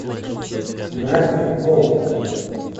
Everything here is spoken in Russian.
гравити фолз